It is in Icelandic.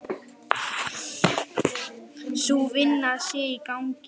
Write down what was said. Sú vinna sé í gangi.